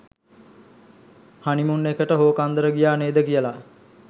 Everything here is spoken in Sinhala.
හනිමුන් එකට හෝකන්දර ගියා නේද කියලා.